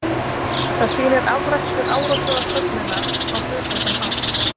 Það sýnir afrakstur áratuga söfnunar á hlutlausan hátt.